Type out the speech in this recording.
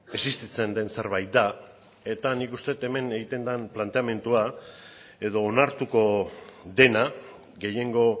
existitzen den zerbait da eta nik uste dut hemen egiten den planteamendua edo onartuko dena gehiengo